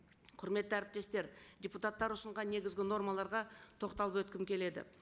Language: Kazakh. құрметті әріптестер депутаттар ұсынған негізгі нормаларға тоқталып өткім келеді